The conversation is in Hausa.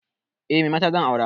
Eh, me mata zan aura.